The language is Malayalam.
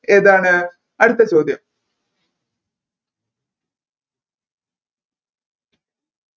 ഏതാണ് അടുത്ത ചോദ്യം